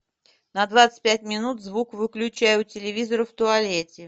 на двадцать пять минут звук выключай у телевизора в туалете